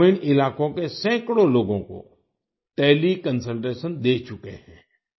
वो ग्रामीण इलाकों के सैकड़ों लोगों को टेलीकंसल्टेशन दे चुके हैं